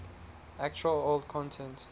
actual old content